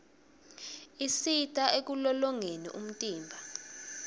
isita ekulolongeni umtimba